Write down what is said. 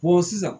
sisan